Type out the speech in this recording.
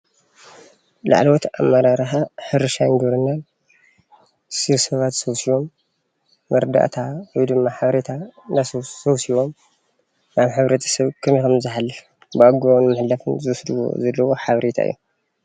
ላዕሎዎት ኣመራርሓ ሕርሻን ግብርናን ሰብሰባ ተሰብሲቦም መረዳእታ ወይ ድማ ሓቤሬታ ሰብሲቦም ናብ ሕብረተሰብ ኸመይ ከምዝሓልፍ ብኣግባቡ ንምሕልላፍ ዝወስድዎ ዘለው ሓበሬታቭእዩ።